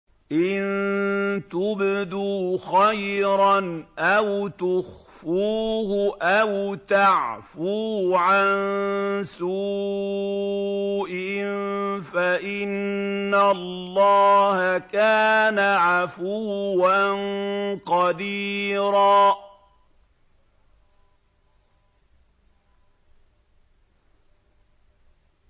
إِن تُبْدُوا خَيْرًا أَوْ تُخْفُوهُ أَوْ تَعْفُوا عَن سُوءٍ فَإِنَّ اللَّهَ كَانَ عَفُوًّا قَدِيرًا